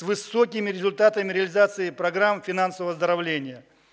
высокими результатами реализации программы финансового оздоровления